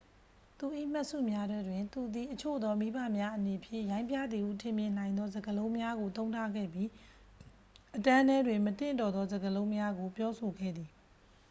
သူ၏မှတ်စုများထဲတွင် သူသည် အချို့သောမိဘများအနေဖြင့် ရိုင်းပြသည်ဟုထင်မြင်နိုင်သော စကားလုံးများကို သုံးထားခဲ့ပြီး အတန်းထဲတွင် မသင့်တော်သောစကားလုံးများကို ပြောဆိုခဲ့သည်